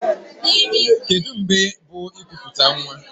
Kedụ mgbe bụ ikuputa nwa?